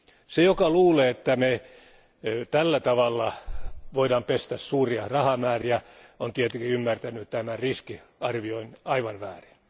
Se joka luulee, että me tällä tavalla voimme pestä suuria rahamääriä, on tietenkin ymmärtänyt tämän riskin arvioinnin aivan väärin.